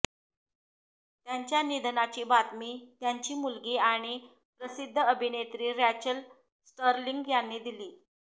त्यांच्या निधनाची बातमी त्यांची मुलगी आणि प्रसिद्ध अभिनेत्री रॅचल स्टर्लिंग यांनी दिली